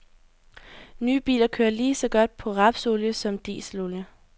Nye biler kører lige så godt på rapsolie som på dieselolie.